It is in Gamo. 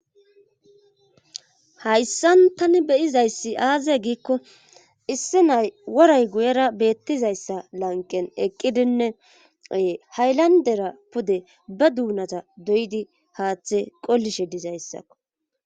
hayssan tani beyizayssi aaze giikko issi nay woray guyera beettizayssa lanqen eqqidinneee haylandera pude ba duunata doydi haaththe qollishe dizayssakko